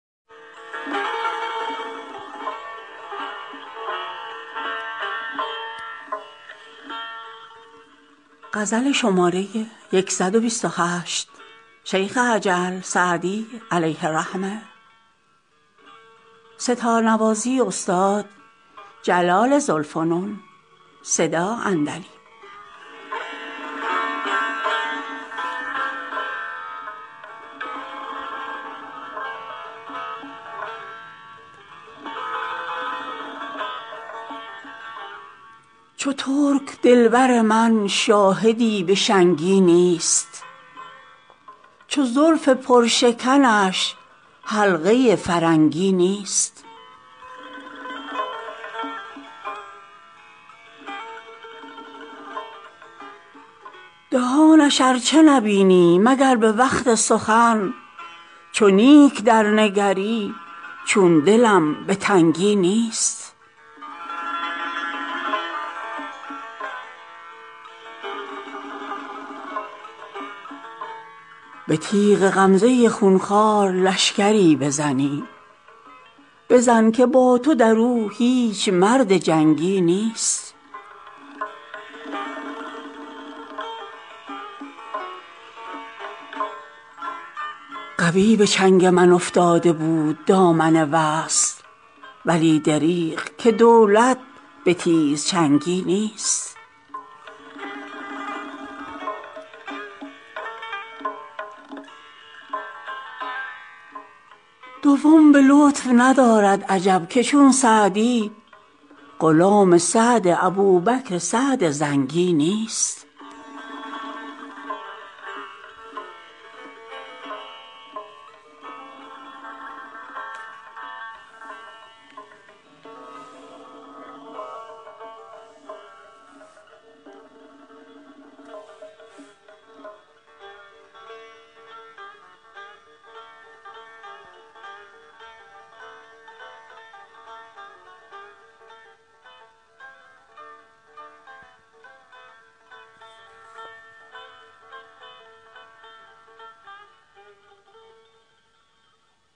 چو ترک دل بر من شاهدی به شنگی نیست چو زلف پرشکنش حلقه فرنگی نیست دهانش ار چه نبینی مگر به وقت سخن چو نیک درنگری چون دلم به تنگی نیست به تیغ غمزه خون خوار لشکری بزنی بزن که با تو در او هیچ مرد جنگی نیست قوی به چنگ من افتاده بود دامن وصل ولی دریغ که دولت به تیزچنگی نیست دوم به لطف ندارد عجب که چون سعدی غلام سعد ابوبکر سعد زنگی نیست